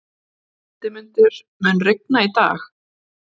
Hildimundur, mun rigna í dag?